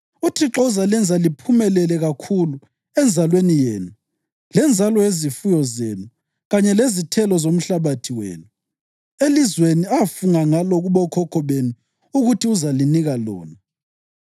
UThixo uzalenza liphumelele kakhulu, enzalweni yenu, lenzalo yezifuyo zenu kanye lezithelo zomhlabathi wenu elizweni afunga ngalo kubokhokho benu ukuthi uzalinika lona.